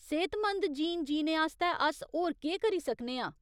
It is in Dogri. सेह्तमंद जीन जीने आस्तै अस होर केह् करी सकने आं ?